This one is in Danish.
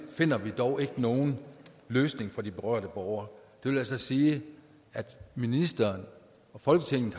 finder vi dog ikke nogen løsning for de berørte borgere det vil altså sige at ministeren og folketinget